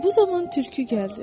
Elə bu zaman tülkü gəldi.